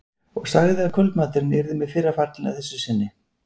Og sagði að kvöldmaturinn yrði með fyrra fallinu að þessu sinni.